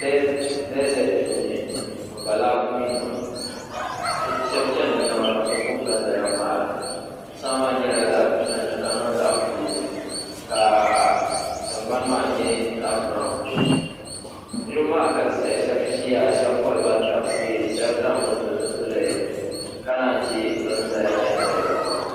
dazet puuni o ba lakuminima shebi shɛba nyala zaɣ' piɛlli ka tingbani maa nyɛ zaɣ' tankpagu yura maa galisiya shɛbe ʒɛ ya bantabisi ka shɛbi zaŋ zipiliti pili ka nayi chɛ ban chɛnidoliba